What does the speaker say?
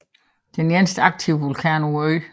Det er den eneste aktive vulkan på øen